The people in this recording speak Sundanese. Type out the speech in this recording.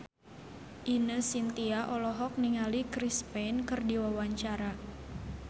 Ine Shintya olohok ningali Chris Pane keur diwawancara